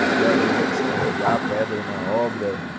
ajudar, às vezes, a descarregar pedra na obra.